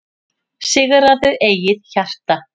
Sigraðu eigið hjarta,